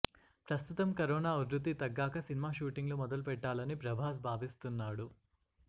ప్రస్తుతం కరోనా ఉదృతి తగ్గాకా సినిమా షూటింగ్ లు మొదలుపెట్టాలని ప్రభాస్ భావిస్తున్నాడు